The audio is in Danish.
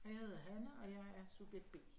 Og jeg hedder Hanne, og jeg er subjekt B